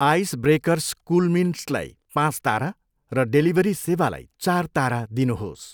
Ice breakers कुलमिन्ट्सलाई पाँच तारा र डेलिभरी सेवालाई चार तारा दिनुहोस्।